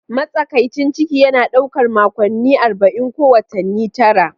Matsakaicin ciki yana ɗaukar makonni 40, ko watanni tara.